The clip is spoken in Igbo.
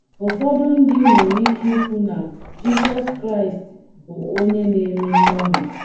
Ụfọdụ ndị nwere ike ikwu na Jizọs Kraịst bụ onye na - eme mgbanwe.